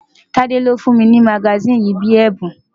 Tade ni ó fún mi ní magasíìnì yìí bíi ẹ̀bùn.